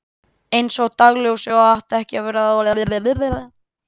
Einsog dagsljósið og átti eftir að verða áþreifanleg tíu árum síðar.